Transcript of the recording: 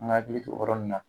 An ka hakili t'o yɔrɔ ninnu na .